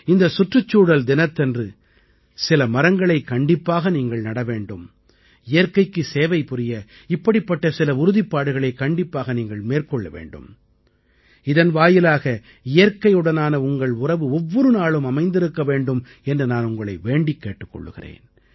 இந்த சுற்றுச்சூழல் தினத்தன்று சில மரங்களைக் கண்டிப்பாக நீங்கள் நட வேண்டும் இயற்கைக்கு சேவை புரிய இப்படிப்பட்ட சில உறுதிப்பாடுகளை கண்டிப்பாக நீங்கள் மேற்கொள்ள வேண்டும் இதன் வாயிலாக இயற்கையுடனான உங்கள் உறவு ஒவ்வொரு நாளும் அமைந்திருக்க வேண்டும் என்று நான் உங்களை வேண்டிக் கேட்டுக் கொள்கிறேன்